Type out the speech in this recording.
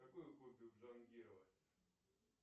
какое хобби у джангирова